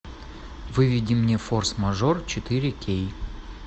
выведи мне форс мажор четыре кей